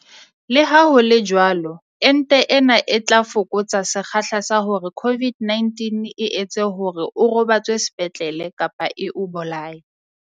Leha ho le jwalo, ente ena yona e tla fokotsa sekgahla sa hore COVID-19 e etse hore o robatswe sepetlele kapa e o bolaye.